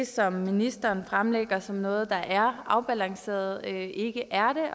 som ministeren fremlægger som noget der er afbalanceret ikke er